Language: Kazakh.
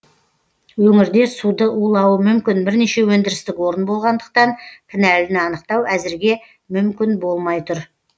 өңірде суды улауы мүмкін бірнеше өндірістік орын болғандықтан кінәліні анықтау әзірге мүмкін болмай тұр